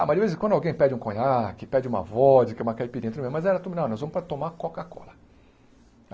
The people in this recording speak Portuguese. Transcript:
Ah, mas de vez em quando alguém pede um conhaque, pede uma vodka, uma caipirinha tudo bem, mas era tudo, não, nós vamos para tomar Coca-Cola.